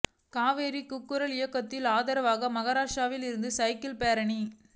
காவிரி கூக்குரல் இயக்கத்துக்கு ஆதரவாக மகாராஷ்டிரத்தில் இருந்து சைக்கிள் பேரணி